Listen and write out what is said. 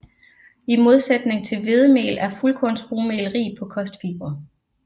I modsætning til hvedemel er fuldkornsrugmel rig på kostfibre